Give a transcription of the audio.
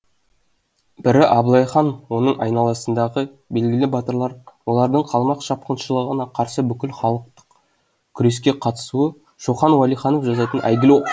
бірі абылай хан оның айналасындағы белгілі батырлар олардың қалмақ шапқыншылығына қарсы бүкіл халықтық күреске қатысуы шоқан уәлиханов жазатын әйгілі